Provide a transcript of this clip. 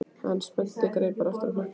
Hann spennti greipar aftur á hnakka.